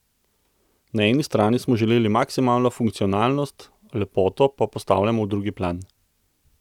Na eni strani smo želeli maksimalno funkcionalnost, lepoto pa postavljamo v drugi plan.